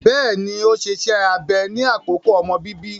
Bẹẹni, o ṣe ìṣe abẹ ni akoko omọ bíbí